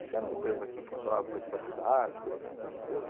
Acho que era uma empresa que funcionava para a cidade, coisa assim, né, limpeza.